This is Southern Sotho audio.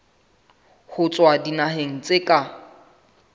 ho tswa dinaheng tsa ka